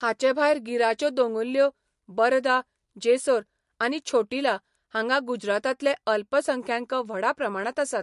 हाचेभायर गिराच्यो दोंगुल्ल्यो, बरदा, जेसोर आनी छोटिला हांगां गुजरातांतले अल्पसंख्यांक व्हडा प्रमाणांत आसात.